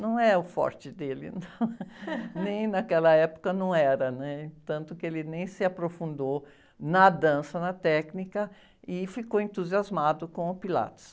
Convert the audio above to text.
Não é o forte dele, nem naquela época não era, né? Tanto que ele nem se aprofundou na dança, na técnica, e ficou entusiasmado com o Pilates.